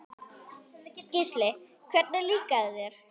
Gísli: Hvernig líkaði þér?